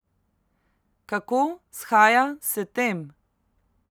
Kako shaja s tem?